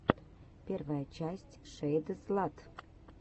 первая часть шэйдзлат